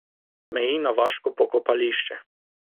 Meji na vaško pokopališče.